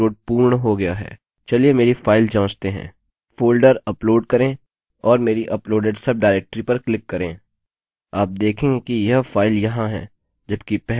folder upload करें और मेरी अपलोडेड सबडाइरेक्टरी पर क्लिक करें आप देखेंगे कि यह फाइल यहाँ है जबकि पहले इसे मेरे वेब सर्वर पर अस्थायीडाइरेक्टरी में संग्रहीत किया गया था